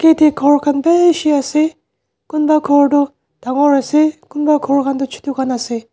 ete ghor khan bishi ase kunba ghor toh dangor ase kunba ghor khan toh chutu ase.